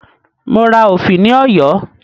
Mo ra òfì ní Ọ̀yọ́